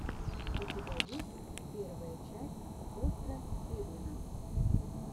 у тебя есть первая часть остра тирнина